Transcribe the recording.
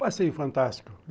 Um passeio fantástico.